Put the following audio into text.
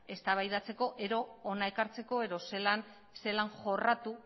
eztabaidatzeko edo hona ekartzeko edo zelan jorratu